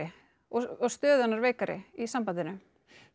og stöðu hennar veikari í sambandinu